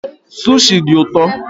Sushi dị ụtọ